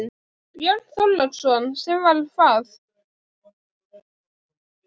Björn Þorláksson: Sem var hvað?